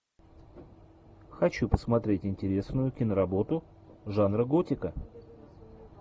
хочу посмотреть интересную киноработу жанра готика